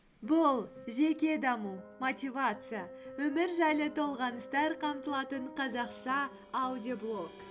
бұл жеке даму мотивация өмір жайлы толғаныстар қамтылатын қазақша аудиоблог